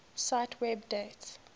cite web date